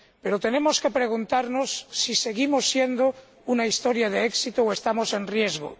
Pero tenemos que preguntarnos si seguimos siendo una historia de éxito o estamos en riesgo.